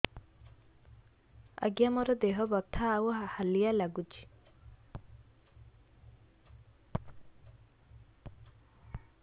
ଆଜ୍ଞା ମୋର ଦେହ ବଥା ଆଉ ହାଲିଆ ଲାଗୁଚି